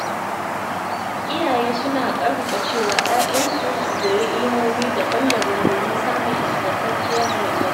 Iyaye suna ƙarfafa cewa ‘ya’yansu su koyi ilimomi daban-daban domin samun ingantacciyar rayuwa.